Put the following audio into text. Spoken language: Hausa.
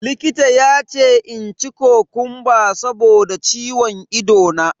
Likita ya ce in ci kokumba saboda ciwon ido na.